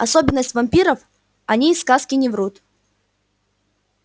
особенность вампиров о ней сказки не врут